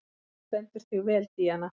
Þú stendur þig vel, Díana!